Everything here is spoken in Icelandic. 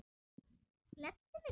Gleddu mig þá.